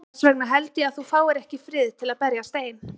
Þess vegna held ég að þú fáir ekki frið til að berjast ein.